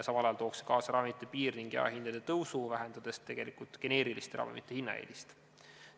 Samal ajal aga tooks see kaasa ravimite piir- ja jaehinna tõusu, vähendades tegelikult geneeriliste ravimite hinnaeelist.